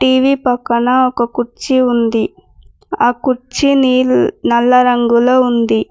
TV పక్కన ఒక కుర్చీ ఉంది ఆ కుర్చీని నల్ల రంగులో ఉంది.